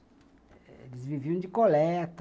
Eles viviam de coleta.